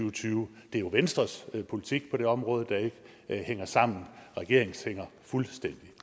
og tyve det er jo venstres politik på det område der ikke hænger sammen regeringens hænger fuldstændig